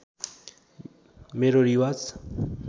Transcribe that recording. मेरो रिवाज